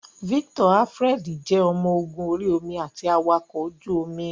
Victor Alfred jẹ́ ọmọ ogun orí omi àti awakọ̀ ojú omi.